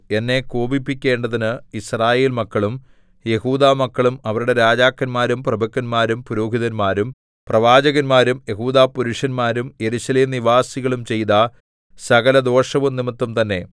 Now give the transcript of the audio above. എന്നെ കോപിപ്പിക്കേണ്ടതിന് യിസ്രായേൽമക്കളും യെഹൂദാമക്കളും അവരുടെ രാജാക്കന്മാരും പ്രഭുക്കന്മാരും പുരോഹിതന്മാരും പ്രവാചകന്മാരും യെഹൂദാപുരുഷന്മാരും യെരൂശലേം നിവാസികളും ചെയ്ത സകലദോഷവും നിമിത്തംതന്നെ